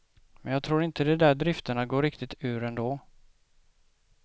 Men jag tror inte de där drifterna går riktigt ur ändå.